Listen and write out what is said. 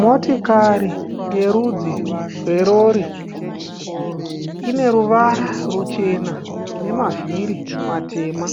Motikari yerudzi rwerori. Ine ruvara ruchena nemavhiri matema.